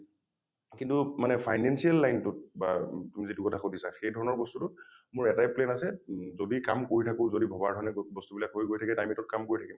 কিন্তু মানে financial line টোত বা তুমি যিটো কথা সুধিছা সেইধৰণৰ বস্তুটো মোৰ এটাই plan আছে উম যদি কাম কৰি থাকো যদি ভবাৰ দৰে বস্তু বিলাক হৈ গৈ থাকে time eight ত কাম কৰি থাকিম ।